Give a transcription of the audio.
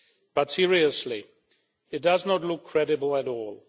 But seriously, it does not look credible at all.